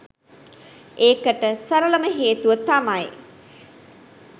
ඒකට සරලම හේතුව තමයි